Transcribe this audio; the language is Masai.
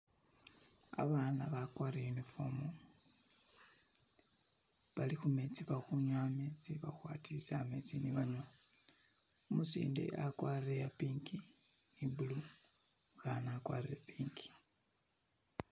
Abana bagwatile uniform bali khumetsi bali khunywa ametsi bali kwadilisa ametsi ni banywa umusinde agwarile iya pink ni blue umukana agwatile pink